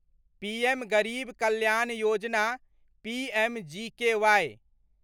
PM Garib Kalyan Yojana PMGK